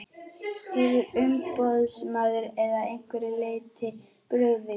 Hefur umboðsmaður að einhverju leyti brugðist?